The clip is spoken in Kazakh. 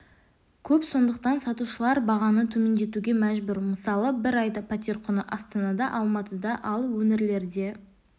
көп сондықтан сатушылар бағаны төмендетуге мәжбүр мысалы бір айда пәтер құны астанада алматыда ал өңірлерде